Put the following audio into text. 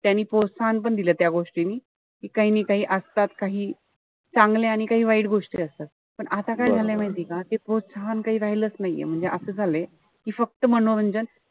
त्यांनी प्रोत्साहन पण दिल त्या गोष्टींनी. काई नि काई असतात काही चांगले आणि काही वाईट गोष्टी असतात. पण आता काय झालंय माहितीय का, ते प्रोत्साहन काई राहिलंच नाहीये. म्हणजे असं झालंय. कि फक्त मनोरंजन,